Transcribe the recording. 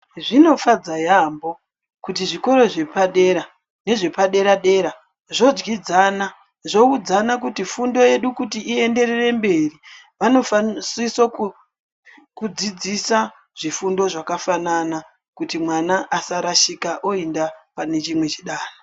Zvinofadza yambo kuti zvikoro zvepadera nezvepadera dera zvodyidzana zvoudzana kuti fundo yedu kuti ienderere mberi vanosisa kudzidzisa zvifundo zvakafanana kuti mwana asarashika oenda pane chimwe chidanho.